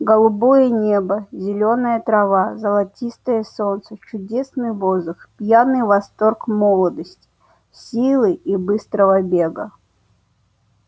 голубое небо зелёная трава золотистое солнце чудесный воздух пьяный восторг молодости силы и быстрого бега